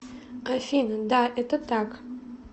афина да это так